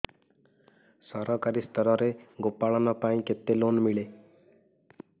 ସରକାରୀ ସ୍ତରରେ ଗୋ ପାଳନ ପାଇଁ କେତେ ଲୋନ୍ ମିଳେ